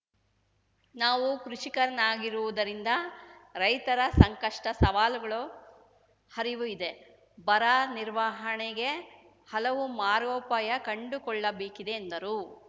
ನಾವು ಕೃಷಿಕನಾಗಿರುವುದರಿಂದ ರೈತರ ಸಂಕಷ್ಟ ಸವಾಲುಗಳ ಹರಿವು ಇದೆ ಬರ ನಿರ್ವಹಣೆಗೆ ಹಲವು ಮಾರ್ಗೋಪಾಯ ಕಂಡುಕೊಳ್ಳಬೇಕಿದೆ ಎಂದರು